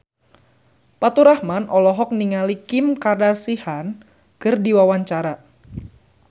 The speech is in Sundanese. Faturrahman olohok ningali Kim Kardashian keur diwawancara